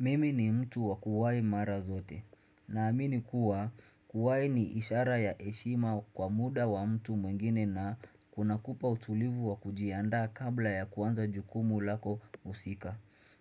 Mimi ni mtu wa kuwai mara zote. Naamini kuwa kuwai ni ishara ya heshima kwa muda wa mtu mwengine na kuna kupa utulivu wa kujiandaa kabla ya kuanza jukumu lako husika.